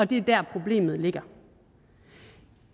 det er der problemet ligger